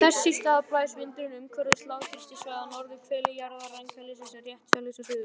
Þess í stað blæs vindurinn umhverfis lágþrýstisvæði á norðurhveli jarðar rangsælis en réttsælis á suðurhveli.